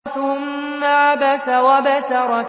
ثُمَّ عَبَسَ وَبَسَرَ